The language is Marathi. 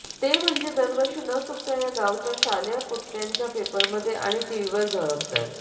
ते म्हणजे दरवर्षी न चुकता या गावच्या शालेय पोट्ट्यांचा पेपरमध्ये आणि टीव्हीवर झळकतात